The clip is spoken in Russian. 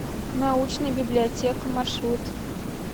научная библиотека маршрут